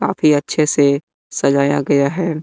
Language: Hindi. काफी अच्छे से सजाया गया हैं।